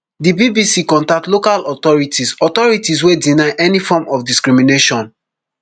di bbc contact local authorities authorities wey deny any form of discrimination